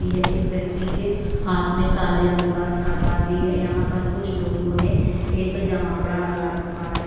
ई है। एक व्यक्ति के हांथ में काले रंग का छाता बी है। यहाँ पर कुछ लोगों ने एक जमावड़ा लगा रखा है।